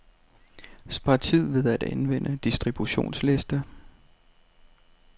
Spar tid ved at anvende distributionsliste.